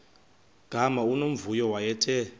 gama unomvuyo wayethe